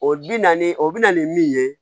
O bi naani o bi na ni min ye